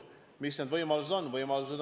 Millised võimalused meil on?